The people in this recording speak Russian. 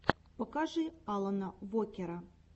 покажи алана вокера